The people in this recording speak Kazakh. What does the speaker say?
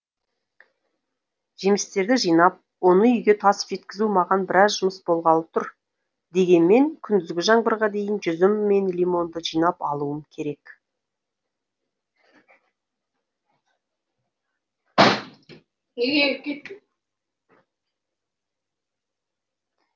жемістерді жинап оны үйге тасып жеткізу маған біраз жұмыс болғалы тұр дегенмен күндізгі жаңбырға дейін жүзім мен лимонды жинап алуым керек